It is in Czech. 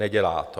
Nedělá to.